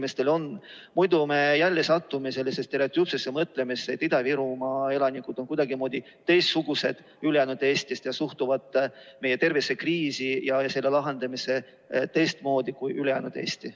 Muidu me satume jälle sellisesse stereotüüpsesse mõtlemisse, et Ida-Virumaa elanikud on kuidagimoodi teistsugused kui ülejäänud Eestis ja suhtuvad meie tervisekriisi ja selle lahendamisse teistmoodi kui ülejäänud Eesti.